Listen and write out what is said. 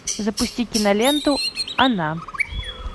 запусти киноленту она